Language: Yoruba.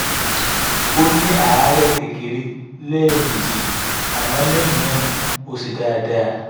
ó ní àárè kékeré lẹ́ẹ̀mejì àmọ́ lẹ́yìn náà ó ṣe dáadáa